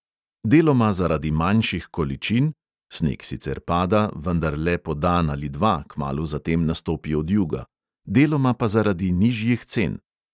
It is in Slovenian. Deloma zaradi manjših količin (sneg sicer pada, vendar le po dan ali dva, kmalu zatem nastopi odjuga), deloma pa zaradi nižjih cen.